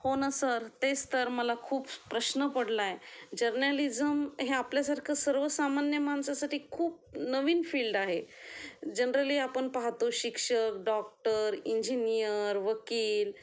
हो ना सर तेच तर मला खूप प्रश्न पडला आहे जर्नालिझम हे आपल्या सारख सर्व सामान्य माणसासाठी खूप नवीन फील्ड आहे, जनरली आपण पाहतो शिक्षक, डॉक्टर, इंजीनियर, वकील